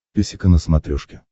песика на смотрешке